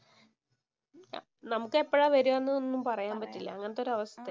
നമുക്ക് എപ്പഴാ വരികാന്നൊന്നും പറയാന്‍ പറ്റില്ല. അങ്ങനത്തെ ഒരവസ്ഥയാ.